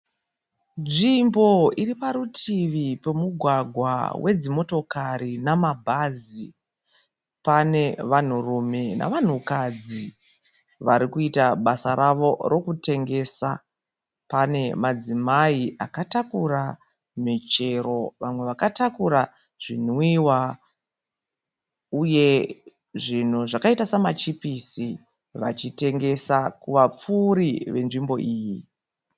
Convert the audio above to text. Nzvimbo iriparutivi pemugwagwa wedzimotokari nemabhazi. Pane vanhurume nevanhukadzi varikuita basa ravo rekutengesa. Pane madzimai akatakura michero nevamwe vakatakura zvinwiwa uye zvinhu zvakaita semachipusi vachitengesa kuvapfuuri venzvimbo iyi.